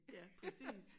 Ja præcis